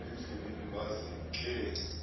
endleleni baza ke